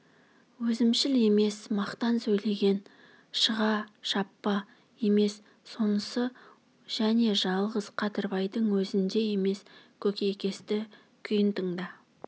өзімшіл емес мақтан сөйлеген шыға шаппа емес сонысы және жалғыз қадырбайдың өзінде емес көкейкесті күйін тыңда